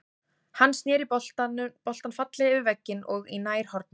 Hann snéri boltann fallega yfir vegginn og í nærhornið.